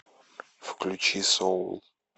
включи соул